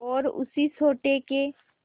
और उसी सोटे के